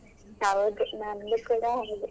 ಹೌದು ನಂದು ಕೂಡ ಹಾಗೇ.